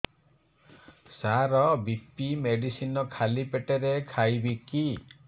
ସାର BP medicine ଖାଲି ପେଟରେ ଖାଇବି କି